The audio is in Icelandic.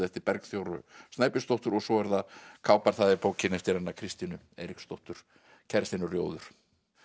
eftir Bergþóru Snæbjörnsdóttur svo er það kápan það er bókin eftir Kristínu Eiríksdóttur kærastinn er rjóður